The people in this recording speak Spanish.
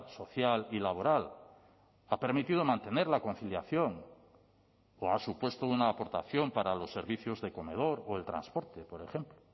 social y laboral ha permitido mantener la conciliación o ha supuesto una aportación para los servicios de comedor o el transporte por ejemplo